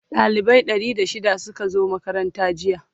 dalibai Ɗari da shida Suka zo makaranta jiya